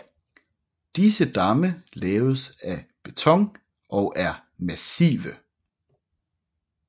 Disse damme laves af beton og er massive